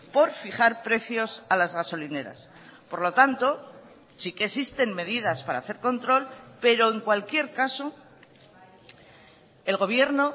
por fijar precios a las gasolineras por lo tanto sí que existen medidas para hacer control pero en cualquier caso el gobierno